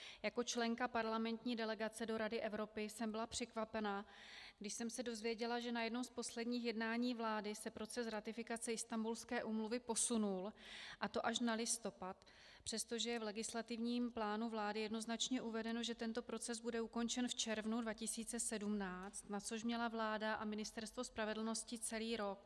Jako členka parlamentní delegace do Rady Evropy jsem byla překvapená, když jsem se dozvěděla, že na jednom z posledních jednání vlády se proces ratifikace Istanbulské úmluvy posunul, a to až na listopad, přestože je v legislativním plánu vlády jednoznačně uvedeno, že tento proces bude ukončen v červnu 2017, na což měla vláda a Ministerstvo spravedlnosti celý rok.